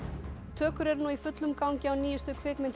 tökur eru nú í fullum gangi á nýjustu kvikmynd